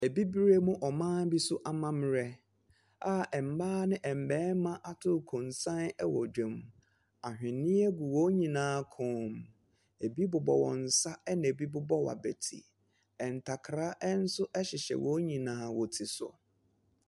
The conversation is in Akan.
Abibirem mu ɔman bi so amammerɛ a mmaa ne mmarima ato nkonsa wɔ dwam. Ahwenneɛ gu wɔn nyinaa kɔn mu. Ebi bobɔ wɔn nsa, ɛnna ebi bobɔ wɔn abati. Ntakra nso hyehyɛ wɔn nyinaa wɔn ti so.